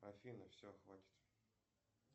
афина все хватит